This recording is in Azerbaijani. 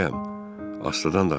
Asta danış.